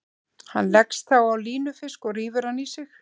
Hann leggst þá á línufisk og rífur hann í sig.